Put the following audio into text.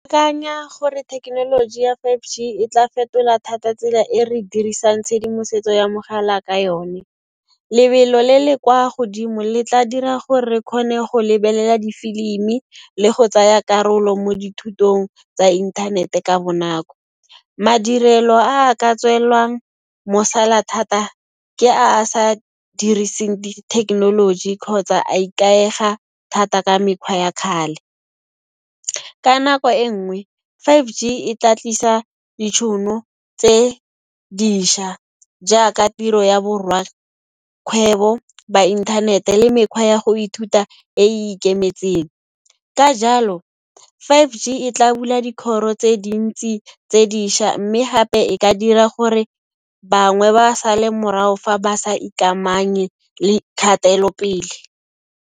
Ke akanya gore thekenoloji ya five G e tla fetola thata tsela e re dirisang tshedimosetso ya mogala ka yone. Lebelo le le kwa godimo le tla dira gore re kgone go lebelela difilimi, le go tsaya karolo mo dithutong tsa inthanete ka bonako. Madirelo a a ka tswellwang, mosola thata, ke a a sa diriseng di-technology kgotsa a ikaega thata ka mekgwa ya kgale. Ka nako e nngwe, five G e tla tlisa ditšhono tse diša jaaka tiro ya borwa kgwebo ba inthanete le mekgwa ya go ithuta e e ikemetseng. Ka jalo, five G e tla bula dikgoro tse dintsi tse diša mme gape e ka dira gore bangwe ba sale morao fa ba sa ikamanye le kgatelopele.